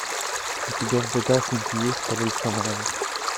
у тебя в загашнике есть король шаманов